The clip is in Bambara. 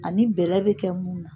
Ani bɛlɛ bɛ kɛ mun na.